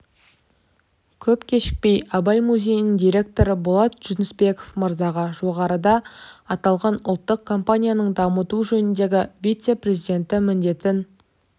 көп кешікпей абай музейінің директоры болат жүнісбеков мырзаға жоғарыда аталған ұлттық компанияның дамыту жөніндегі вице-президенті міндетін